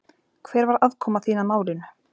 Hver var aðkoma þín að málinu?